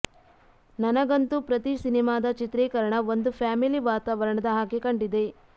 ನನಗಂತೂ ಪ್ರತಿ ಸಿನಿಮಾದ ಚಿತ್ರೀಕರಣ ಒಂದು ಫ್ಯಾಮಿಲಿ ವಾತಾವರಣದ ಹಾಗೆಯೇ ಕಂಡಿದೆ